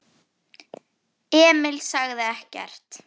Emil sagði ekkert.